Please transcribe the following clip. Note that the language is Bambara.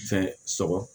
Fɛn sɔrɔ